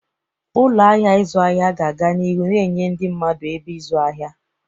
Ụlọ ahịa ịzụ ahịa ga-aga n'ihu na-enye ndị mmadụ ebe ịzụ ahịa.